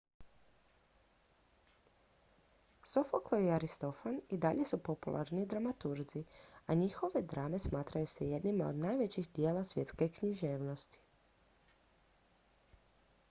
sofoklo i aristofan i dalje su popularni dramaturzi a njihove drame smatraju se jednima od najvećih djela svjetske književnosti